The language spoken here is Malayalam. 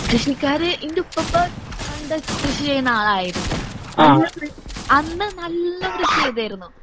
കൃഷിക്കാര് ഇന്റുപ്പൂപ്പാ പണ്ട് കൃഷി ചെയ്യണ ആളായിരുന്നു. അന്ന് കൃ അന്ന് നല്ല കൃഷി ചെയ്തിരുന്നു.